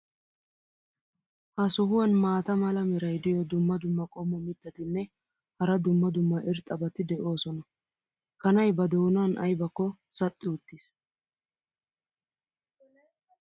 ha sohuwan maata mala meray diyo dumma dumma qommo mitattinne hara dumma dumma irxxabati de'oosona. kanay ba doonan aybakko saxxi uttiis.